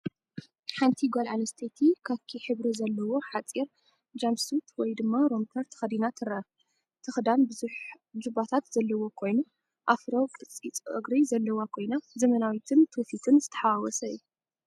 ሓንቲ ጓል ኣንስተይቲ ካኪ ሕብሪ ዘለዎ ሓጺር ጃምፕሱት (ሮምፐር) ተኸዲና ትረአ። እቲ ክዳን ብዙሕ ጁባታት ዘለዎ ኮይኑ፡ ኣፍሮ ቅዲ ጸጉሪ ዘለዋ ኮይና፡ ዘመናዊነትን ትውፊትን ዝተሓዋወሰ እዩ።